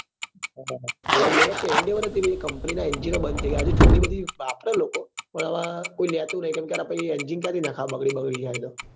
હા endeavour કે endeavour ભાઈ હતી company ના engine ઓ બંદ થઇ ગયા હજુ જૂની બધી વાપરે લોકો પણ હવે કોઈ લેતું નહીકેમ કે હારા પહી engine ક્યાંથી નખાવે બગડી બગડી જાય તો